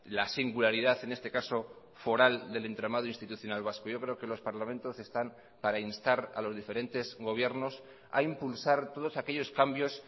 la singularidad en este caso foral del entramado institucional vasco yo creo que los parlamentos están para instar a los diferentes gobiernos a impulsar todos aquellos cambios